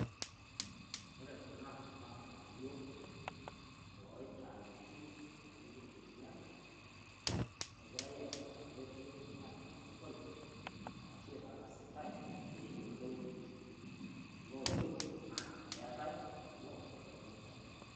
Ore kuna naa olng'anayo o ntayoki nipiki ilbenia egirai aipanga pee etumii atipiki o sokoni arashu aitangasitai pee eyeloo looyeu ajo keeta kuloo pee eponuu anyang'u.